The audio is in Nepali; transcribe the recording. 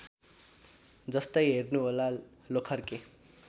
जस्तै हेर्नुहोला लोखर्के